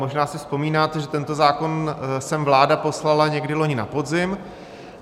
Možná si vzpomínáte, že tento zákon sem vláda poslala někdy loni na podzim.